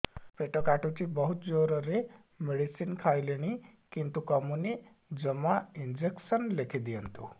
ପେଟ କାଟୁଛି ବହୁତ ଜୋରରେ ମେଡିସିନ ଖାଇଲିଣି କିନ୍ତୁ କମୁନି ଜମା ଇଂଜେକସନ ଲେଖିଦିଅନ୍ତୁ